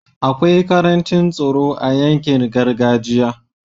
akwai karancin tsaro a yankin gargajiya